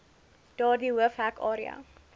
daardie hoofhek area